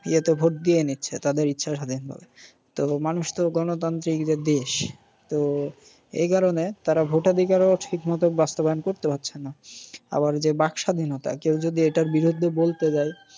ইয়েতে ভোট দিয়ে নিচ্ছে তাদের ইচ্ছা স্বাধীন ভাবে। তো মানুষ তো গনতান্ত্রিকের দেশ। তো এই কারণে তাঁরা ভোটাধিকারও ঠিক মত বাস্তবায়ন করতে পারছে না। আবার যে বাক স্বাধীনতা, কেউ যদি এটার বিরুদ্ধে বলতে যায়